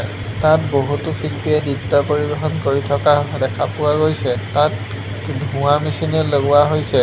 তাত বহুতো শিল্পীয়ে নৃত্য পৰিৱেশন কৰি থকা দেখা পোৱা গৈছে তাত ধোঁৱা মেচিনে লগোৱা হৈছে।